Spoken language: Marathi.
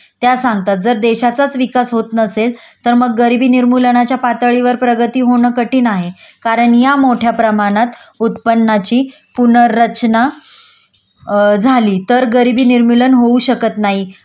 त्या सांगतात जर देशाचाच विकास होत नसेल तर मग गरिबी निर्मूलनाच्या पातळीवर प्रगती होणं कठीण आहे कारण या मोठ्या प्रमाणात उत्पन्नाची पुनर्रचना झाली तर गरिबी निर्मूलन होऊ शकत नाही